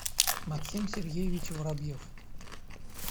максим сергеевич воробьев